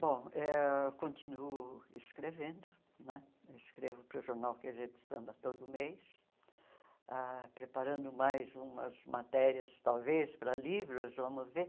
Bom, eh eu continuo escrevendo, né escrevo para o jornal quê gê do Samba todo mês, ah preparando mais umas matérias, talvez, para livros, vamos ver.